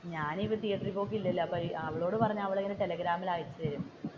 ഞാൻ ഇപ്പൊ തീയറ്ററിൽ പോക്ക് ഇല്ലല്ലോ അവളോട് പറഞ്ഞു അവൾ ടെലെഗ്രാമിൽ അയച്ചു തരും.